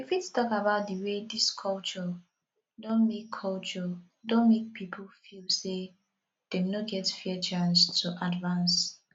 you fit talk about di way dis culture don make culture don make people feel say dem no get fair chance to advance